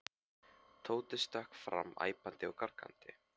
Tóti stökk fram æpandi og gargandi.